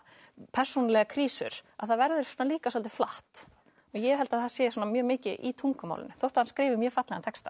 persónulegar krísur að það verður líka svolítið flatt ég held að það sé mjög mikið í tungumálinu þótt að hann skrifi mjög fallegan texta